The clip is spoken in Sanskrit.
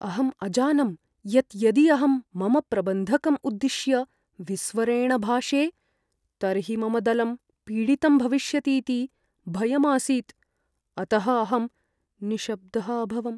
अहम् अजानं यत् यदि अहं मम प्रबन्धकम् उद्दिश्य विस्वरेण भाषे, तर्हि मम दलं पीडितं भविष्यतीति भयम् आसीत्, अतः अहं निशब्दः अभवम्।